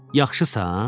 Yaxşısan?